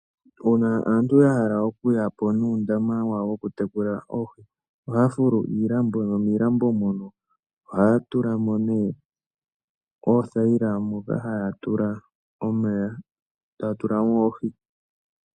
Uuna aantu ya hala okuyapo nuundama wayo wo ku tekula oohi, oha ya fulu iilambo, nomiilambo mono oha ya tulamo nee oothaila moka haya tula omeya, ta ya tulamo oohi.